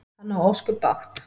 Hann á ósköp bágt.